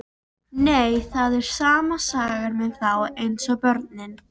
Nei, það er sama sagan með þá eins og börnin.